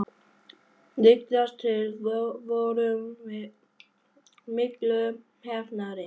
Líkast til vorum við miklu heppnari.